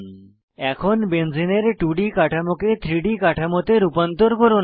এখন বেনজেনে এর 2ডি কাঠামোকে 3ডি তে রূপান্তর করুন